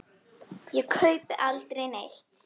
Ég kaupi aldrei neitt.